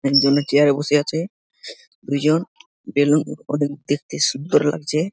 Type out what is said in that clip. এক জনে চেয়ার -এ বসে আছে। দুজন বেলুন ওদের দেখতে সুন্দর লাগছে।